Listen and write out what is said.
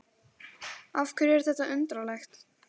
Af hverju er þetta undarlegt?